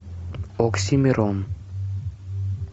оксимирон